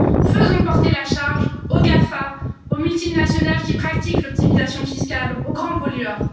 Faisons porter la charge aux GAFA, aux multinationales qui pratiquent l'optimisation fiscale, aux grands pollueurs.